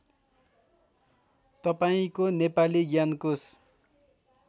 तपाईँको नेपाली ज्ञानकोश